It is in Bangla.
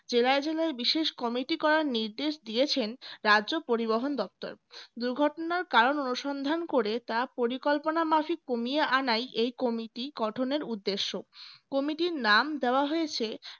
জেলায় জেলায় বিশেষ কমিটি করার নির্দেশ দিয়েছেন রাজ্য পরিবহন দপ্তর দুর্ঘটনার কারণ অনুসন্ধান করে তা পরিকল্পনামাফিক কমিয়ে আনাই এই কমিটি গঠনের উদ্দেশ্য কমিটির নাম দেওয়া হয়েছে